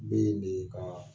N bee bee kaa